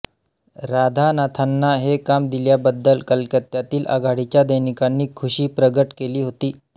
राधानाथांना हे काम दिल्याबद्दल कलकत्त्यातील आघाडीच्या दैनिकांनी खुशी प्रगट केली होती